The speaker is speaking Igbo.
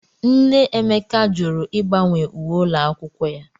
Nne Emeka jụrụ ịgbanwe uwe ụlọ akwụkwọ ya.